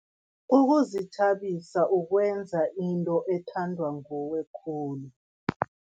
Ukuzithabisa ukwenza into ethandwa nguwe khulu.